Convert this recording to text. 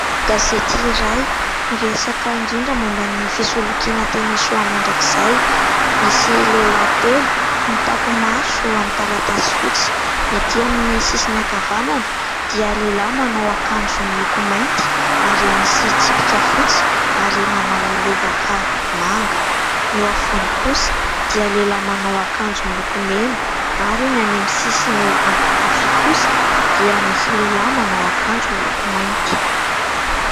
Gazety iray miresaka indrindra momba ny fisolokiana teny Soamandrakizay. Misy lehilahy telo mitampi-maso amin'ny taratasy fotsy : ny ety amin'ny sisiny ankavanana dia lehilahy manao akanjo miloko mainty ary misy tsipika fotsy ary manao lobaka manga ; ny eo afovoany kosa dia lehilahy manao akanjo miloko mena ; ary ny any amin'ny sisiny ankavia kosa dia misy lehilahy manao akanjo miloko mainty.